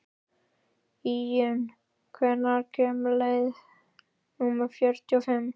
Íunn, hvenær kemur leið númer fjörutíu og fimm?